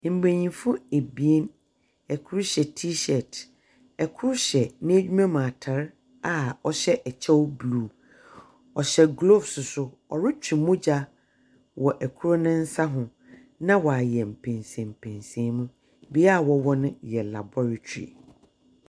Mbenyinfo ebien, ɛkro hyɛ tii hyɛɛt, ɛkro hyɛ n'adwuma mu ataare a wɔhyɛ ɛkyɛw bluu. Ɔyhyɛ glooves so so ɔretwe mogya wɔ ɛkro ne nsa ho na wayɛ mpɛnsɛmpɛnsɛnmu. Bea a wɔwɔ no yɛ labɔretri.